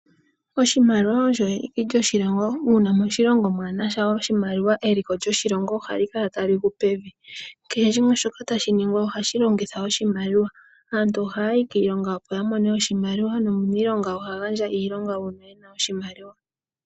Oshimaliwa osho eliko kyoshilongo, uuna moshilongo mwaanasha oshimaliwa eliko lyoshilongo ohali kala tali gu pevi. Kehe shimwe shoka tashi ningwa ohashi longitha oshimaliwa. Aantu ohaya yi kiilonga opo ya mone oshimaliwa, no muniilonga oha gandja iilonga uuna ena oshimaliwa.